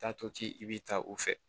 Taato ci i bɛ taa u fɛ